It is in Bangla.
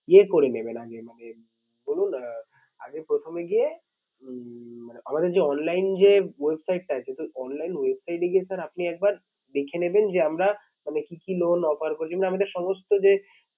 নিয়ে করে নেবেন আগে ভাগে ধরুন আহ আগে প্রথমে গিয়ে উম মানে আমাদের যে online যে website টা আছে sir online website এ গিয়ে sir আপনি একবার দেখে নেবেন যে আমরা মানে কি কি loan offer করছি। মানে আমাদের সমস্ত যে